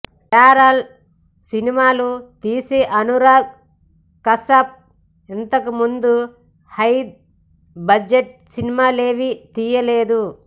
parallel సినిమాలు తీసే అనురాగ్ కశ్యప్ ఇంతకుముందు హై బడ్జెట్ సినిమాలేవీ తీయలేదు